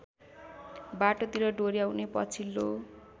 बाटोतिर डोर्‍याउने पछिल्लो